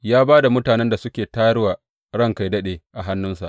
Ya ba da mutanen da suka tayar wa ranka yă daɗe a hannunsa.